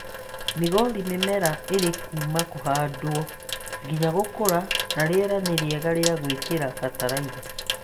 Migori mĩmera ĩrĩ kuuma kũhandwo nginya gũkũra na rĩera nĩ rĩega rĩa gũĩkĩra bataraitha